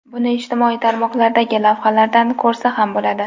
Buni ijtimoiy tarmoqlardagi lavhalardan ko‘rsa ham bo‘ladi.